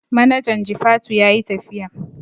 Manajan jifatu yayi tafiya